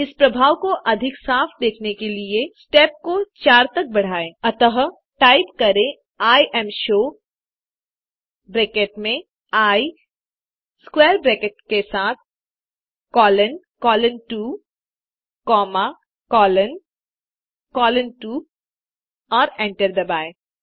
इस प्रभाव को अधिक साफ़ देखने के लिए स्टेप को 4 तक बढाएं अतः टाइप करें इमशो ब्रैकेट में आई स्क्वैर ब्रैकेट के साथ colon colon 2 comma colon colon 2 और एंटर दबाएँ